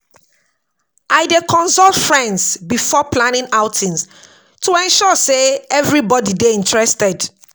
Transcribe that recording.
I dey consult friends before planning outings to ensure sey everybody dey interested.